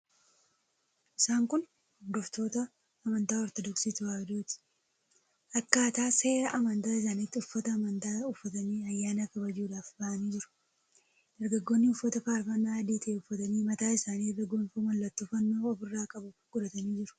Isaan kun hordoftoota amantaa Ortodoksii Tewaahidooti. Akkaataa seera amantaa isaaniitti uffata amantaa uffatanii ayyaana kabajuudhaaf ba'anii jiru. Dargaggoonni uffata faarfannaa adii ta'e uffatanii mataa isaanii irra gonfoo mallattoo fannoo ofirraa qabu godhatanii jiru.